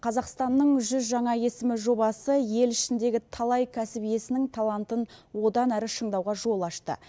қазақстанның жүз жаңа есімі жобасы ел ішіндегі талай кәсіп иесінің талантын одан әрі шыңдауға жол ашты